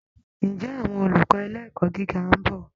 Ǹjẹ́ àwọn olùkọ́ ilé ẹ̀kọ́ gíga ń bọ̀?